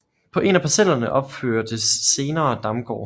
På en af parcellerne opførtes senere Damgård